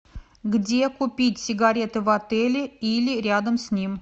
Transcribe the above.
где купить сигареты в отеле или рядом с ним